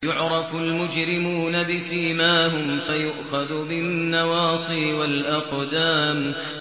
يُعْرَفُ الْمُجْرِمُونَ بِسِيمَاهُمْ فَيُؤْخَذُ بِالنَّوَاصِي وَالْأَقْدَامِ